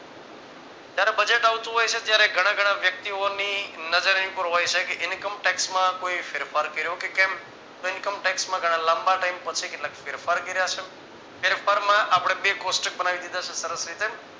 જયારે Budget આવતું હોય છે ત્યારે ઘણા ઘણા વ્યક્તિઓની નજર એની પર હોય છે કે income tax કોઈ ફેરફાર કર્યો કે કેમ income tax માં ઘણા લાંબા time પછી કેટલાક ફેરફાર કાર્ય છે ફેરફારમાં આપણે બે કોષ્ટક બનાવી દીધા છે સરસ રીતે